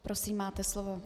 Prosím, máte slovo.